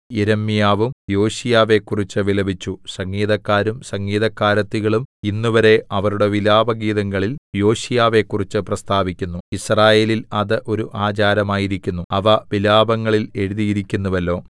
യിരെമ്യാവും യോശീയാവെക്കുറിച്ച് വിലപിച്ചു സംഗീതക്കാരും സംഗീതക്കാരത്തികളും ഇന്നുവരെ അവരുടെ വിലാപഗീതങ്ങളിൽ യോശീയാവെക്കുറിച്ച് പ്രസ്താവിക്കുന്നു യിസ്രായേലിൽ അത് ഒരു ആചാരമായിരിക്കുന്നു അവ വിലാപങ്ങളിൽ എഴുതിയിരിക്കുന്നുവല്ലോ